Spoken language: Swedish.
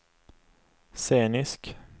scenisk